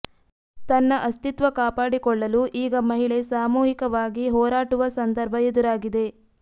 ತನ್ನ ಅಸ್ತಿತ್ವ ಕಾಪಾಡಿಕೊಳ್ಳಲು ಈಗ ಮಹಿಳೆ ಸಾಮೂಹಿಕವಾಗಿ ಹೋರಾಟುವ ಸಂದರ್ಭ ಎದುರಾಗಿದೆ